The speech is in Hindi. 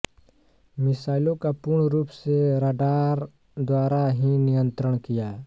मिसाइलों का पूर्ण रूप से राडार द्वारा ही नियंत्रण किया